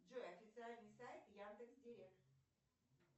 джой официальный сайт яндекс директ